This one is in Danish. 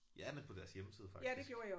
Ja men på deres hjemmeside faktisk